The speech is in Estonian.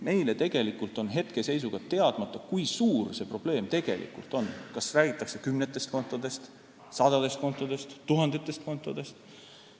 Meile on tegelikult hetkeseisuga teadmata, kui suur see probleem tegelikult on – kas räägitakse kümnetest kontodest, sadadest kontodest või tuhandetest kontodest.